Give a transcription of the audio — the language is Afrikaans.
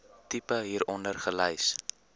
tipe hieronder gelys